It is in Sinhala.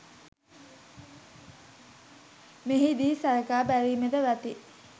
මෙහි දී සලකා බැලීම වටී.